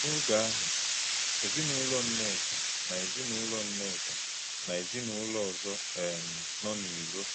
N’ògé̄ àhụ̄, èzìnùlọ̀ Nné̄ká na èzìnùlọ̀ Nné̄ká na èzìnùlọ̀ ọ̀zọ̄ um nọ̄ n’írò̄.